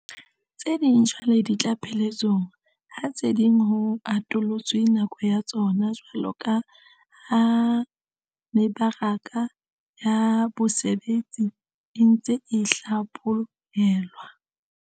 Tse ding jwale di tla pheletsong, ha tse ding ho atollotswe nako ya tsona jwaloka ha mebaraka ya bosebetsi e ntse e hlapho helwa.